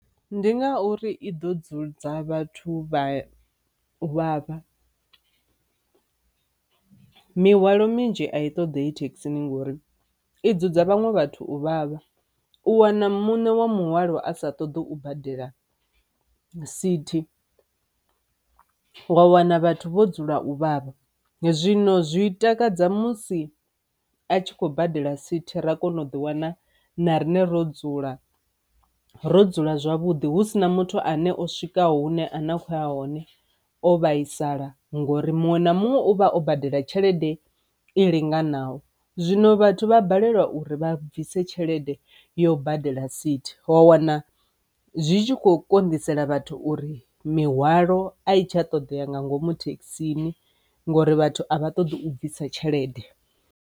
Ndi ngauri i ḓo dzudza vhathu vha uvhavha, mihwalo minzhi a i toḓei thekhisini ngori i dzudza vhaṅwe vhathu u vhavha, u wana muṋe wa muhwalo a sa ṱoḓi u badela sithi, wa wana vhathu vho dzula u vhavha. Zwino zwi takadza musi a tshi khou badela sithi ra kona u ḓi wana na rine ro dzula ro dzula zwavhuḓi hu si na muthu ane o swikaho hune a na khoya hone o vhaisala ngori muṅwe na muṅwe ovha o badela tshelede i linganaho. Zwino vhathu vha balelwa uri vha bvise tshelede yo badela sithi wa wana zwi tshi kho konḓisela vhathu uri mihwalo a itshi a ṱoḓea nga ngomu thekhisini ngori vhathu a vha ṱoḓi u bvisa tshelede.